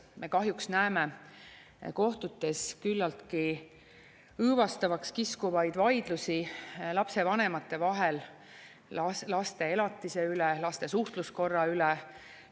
Me kahjuks näeme kohtutes küllaltki õõvastavaks kiskuvaid vaidlusi lapsevanemate vahel laste elatise üle, laste suhtluskorra üle.